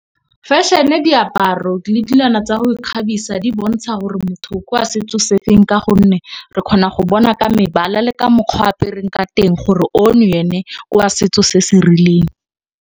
Fashion-e, diaparo le tsa go ikgabisa di bontsha gore motho ke wa setso se feng. Ka gonne re kgona go bona ka mebala le ka mokgwa apereng ka teng gore ono ene kwa setso se se rileng.